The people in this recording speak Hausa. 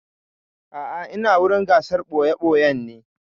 A'a ina wurin gasar ɓoya-ɓoyan ne.